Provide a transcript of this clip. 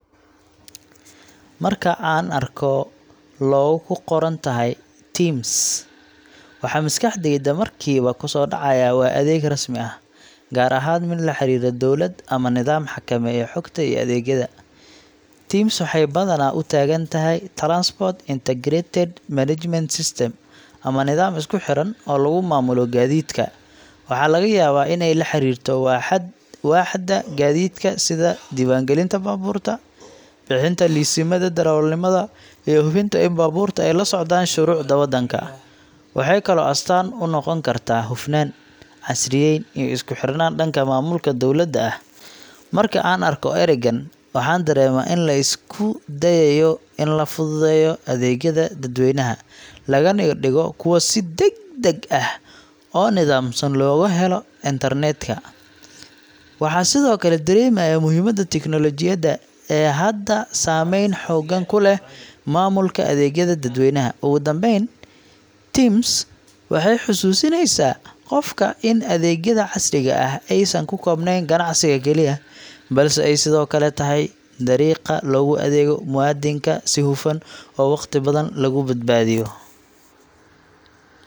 Marka aan arko logo ay ku qoran tahay TIMS, waxa maskaxdayda markiiba ku soo dhacaya waa adeeg rasmi ah, gaar ahaan mid la xiriira dowlad ama nidaam xakameeya xogta iyo adeegyada. TIMS waxay badanaa u taagan tahay Transport Integrated Management System ama nidaam isku xiran oo lagu maamulo gaadiidka. Waxaa laga yaabaa in ay la xiriirto waaxda gaadiidka sida diiwaangelinta baabuurta, bixinta liisamada darawalnimada, iyo hubinta in baabuurta ay la socdaan shuruucda wadanka. Waxay kaloo astaan u noqon kartaa hufnaan, casriyeyn iyo isku xirnaan dhanka maamulka dowladda ah. Marka aan arko ereygan, waxaan dareemaa in la isku dayayo in la fududeeyo adeegyada dadweynaha, lagana dhigo kuwo si degdeg ah oo nidaamsan loogu helo internetka. Waxaa sidoo kale dareemayaa muhiimadda tiknoolajiyadda ee hadda saameyn xooggan ku leh maamulka adeegyada dadweynaha. Ugu dambayn, TIMS waxay xusuusinaysaa qofka in adeegyada casriga ah aysan ku koobnayn ganacsiga kaliya, balse ay sidoo kale tahay dariiqa loogu adeego muwaadinka si hufan oo waqti badan lagu badbaadiyo.